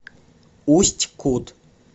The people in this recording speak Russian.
усть кут